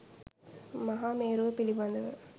මහා මේරුව පිළිබඳව